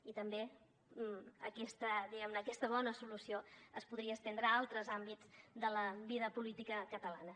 i també aquesta diguem ne bona solució es podria estendre a altres àmbits de la vida política catalana